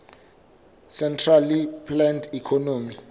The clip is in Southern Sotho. centrally planned economy